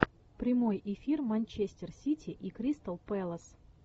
прямой эфир манчестер сити и кристал пэлас